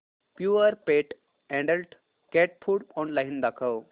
Purepet adult cat food online दाखव